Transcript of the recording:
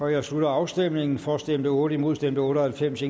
jeg slutter afstemningen for stemte otte imod stemte otte og halvfems